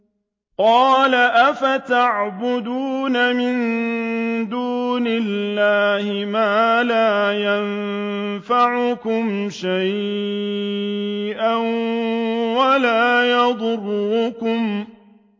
قَالَ أَفَتَعْبُدُونَ مِن دُونِ اللَّهِ مَا لَا يَنفَعُكُمْ شَيْئًا وَلَا يَضُرُّكُمْ